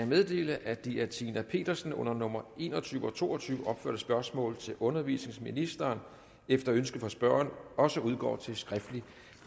meddele at de af fru tina petersen under nummer en og tyve og to og tyve opførte spørgsmål til undervisningsministeren efter ønske fra spørgeren også udgår til skriftlig